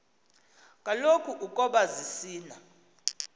kaloku ukoba zisina